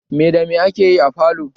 Mai da mai ake yi a falo?